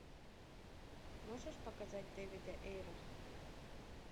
можешь показать дэвида эйра